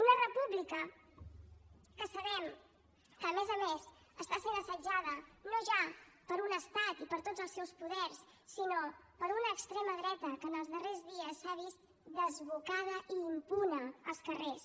una república que sabem que a més a més està sent assetjada no ja per un estat i per tots els seus poders sinó per una extrema dreta que en els darrers dies s’ha vist desbocada i impune als carrers